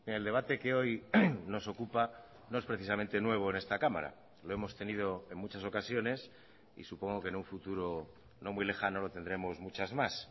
el debate que hoy nos ocupa no es precisamente nuevo en esta cámara lo hemos tenido en muchas ocasiones y supongo que en un futuro no muy lejano lo tendremos muchas más